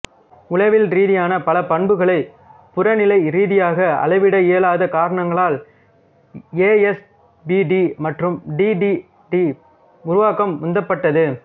உளவியல் ரீதியான பல பண்புகளை புறநிலைரீதியாக அளவிட இயலாத காரணங்களால் ஏஎஸ்பிடி மற்றும் டி டி டி உருவாக்கம்உந்தப்பட்டது